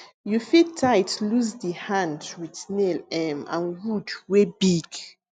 you fit tight loose di hand with nail um and wood wey big